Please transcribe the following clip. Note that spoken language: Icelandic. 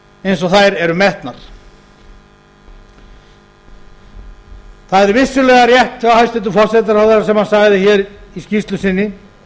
eins og þær eru metnar það er vissulega rétt hjá hæstvirtum forsætisráðherra sem hann sagði í skýrslu sinni